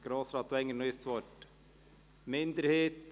Grossrat Wenger noch einmal das Wort?